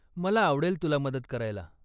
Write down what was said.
मला आवडेल तुला मदत करायला